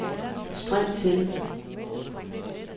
spring til